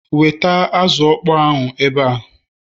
weta azụ okpo ahụ ebe a